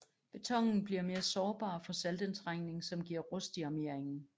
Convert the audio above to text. Betonen bliver mere sårbar for saltindtrængning som giver rust i armeringen